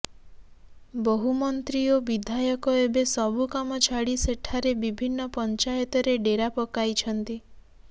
ବହୁ ମନ୍ତ୍ରୀ ଓ ବିଧାୟକ ଏବେ ସବୁ କାମଛାଡ଼ି ସେଠାରେ ବିଭିନ୍ନ ପଞ୍ଚାୟତରେ ଡେରା ପକାଇଛନ୍ତି